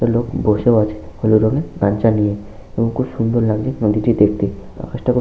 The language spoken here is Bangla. একটি লোক বসেও আছে হলুদ রঙের গামছা নিয়ে এবং খুব সুন্দর লাগছে নদীটি দেখতে আকাশটা খুব--